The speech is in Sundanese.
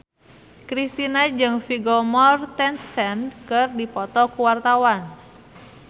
Kristina jeung Vigo Mortensen keur dipoto ku wartawan